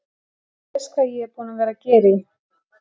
Þú veist hvað ég er búinn að vera að gera í.